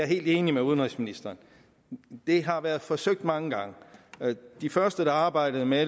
helt enig med udenrigsministeren det har været forsøgt mange gange de første der arbejdede med